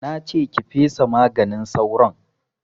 Na ce ki fesa maganin sauron!